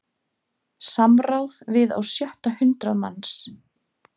Samráð við á sjötta hundrað manns